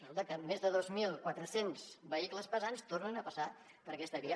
resulta que més de dos mil quatre cents vehicles pesants tornen a passar per aquesta via